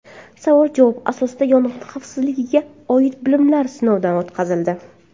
Savol-javob asosida yong‘in xavfsizligiga oid bilimlar sinovdan o‘tkazildi.